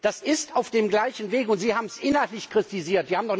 Das ist auf dem gleichen Weg, und sie haben es inhaltlich kritisiert.